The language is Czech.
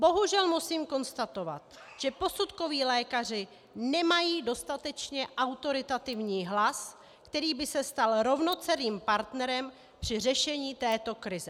Bohužel musím konstatovat, že posudkoví lékaři nemají dostatečně autoritativní hlas, který by se stal rovnocenným partnerem při řešení této krize.